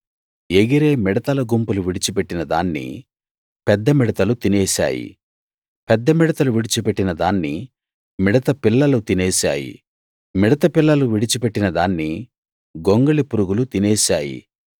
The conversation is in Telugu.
ఎగిరే మిడతల గుంపులు విడిచి పెట్టిన దాన్ని పెద్ద మిడతలు తినేశాయి పెద్ద మిడతలు విడిచిపెట్టిన దాన్ని మిడత పిల్లలు తినేశాయి మిడత పిల్లలు విడిచిపెట్టిన దాన్ని గొంగళిపురుగులు తినేశాయి